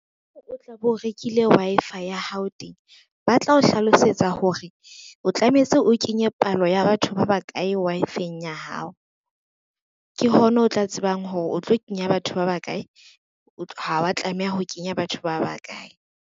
O tla bo o rekile Wi-Fi ya hao teng, ba tla o hlalosetsa hore o tlametse o kenye palo ya batho ba bakae Wi-Fi-eng ya hao. Ke hona o tla tsebang hore o tlo kenya batho ba bakae, ha wa tlameha ho kenya batho ba bakae.